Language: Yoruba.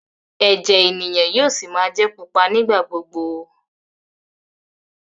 ẹjẹ ènìyàn yóò sí má jé pupa nigba-gbogbo.